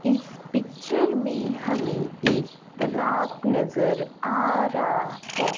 इस पिक्चर में हमें एक तलाब नजर आ रहा है।